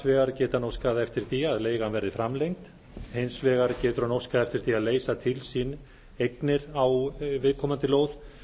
vegar geti hann óskað eftir því að leigan verði framlengd hins vegar getur hann óskað eftir því að leysa til sín eignir á viðkomandi lóð